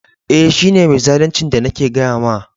Eh, shi ne mai zaluncin da nake gaya ma.